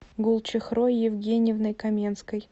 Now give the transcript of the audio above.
гулчехрой евгеньевной каменской